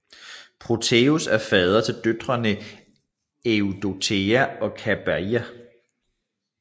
Proteus er fader til døtrene Eidothea og Kabeira